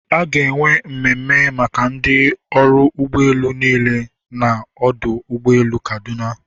A ga-enwe mmemme maka ndị ọrụ ụgbọ elu niile na ọdụ ụgbọ elu kaduna.